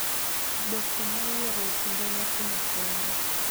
Oboke ma ioro e kinde nyasino konyo,